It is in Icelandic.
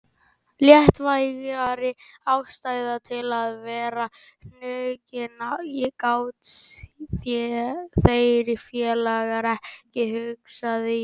Léttvægari ástæðu til að vera hnuggin gátu þeir félagar ekki hugsað sér.